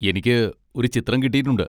എനിക്ക് ഒരു ചിത്രം കിട്ടിയിട്ടുണ്ട്.